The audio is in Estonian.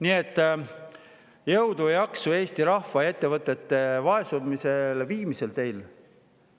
Nii et jõudu ja jaksu teile Eesti rahva ja ettevõtete viimiseks vaesumiseni!